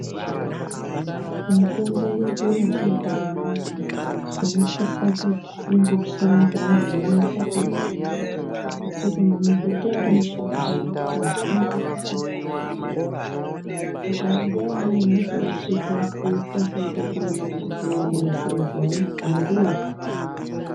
Mitombo yedu yechiboyi zvinosise kuti inotsiwa ngevantu vanonatsa kuiziva nekuti mabhuti arimushango ,mazhinji akafanana ,saka nguva imweni unozorashika woita sekuti ndoona bhuti uya waiziya izvo andiopi.